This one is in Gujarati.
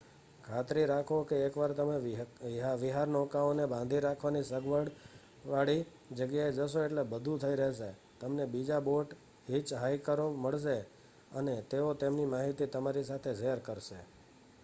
ખાતરી રાખો કે એકવાર તમે વિહારનૌકાઓને બાંધી રાખવાની સગવડવાળી જગ્યાએ જશો એટલે બધું થઈ રહેશે તમને બીજા બોટ હિચહાઇકરો મળશે અને તેઓ તેમની માહિતી તમારી સાથે શેર કરશે